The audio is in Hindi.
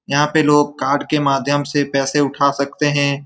यहाँ पे लोग कार्ड के माध्यम से पैसे उठा सकते हैं।